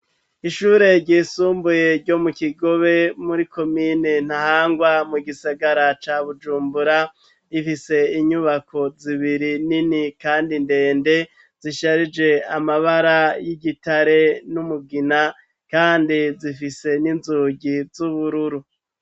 Ishure ryisumbuye ryo mu kigobe muri komine ntahangwa mu gisagara ca bujumbura, ifise inyubako zibiri nini kandi ndende zisharije amabara y'igitare n'umugina kandi zifise n'inzugi z'ubururu.